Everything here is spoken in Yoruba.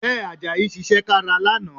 Bẹ́ẹ̀, Àjàyí ṣiṣẹ́ kára lánàá